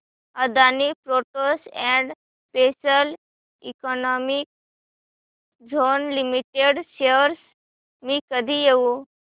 Adani ports and special economic zone limited shares मी कधी घेऊ